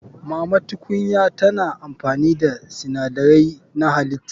Mama tukunya tana amfani da sinadarai na halitta.